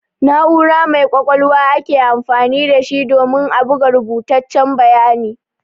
Na'ura mai ƙwaƙwalwa ake amfani da shi domin a buga rubutaccen bayani.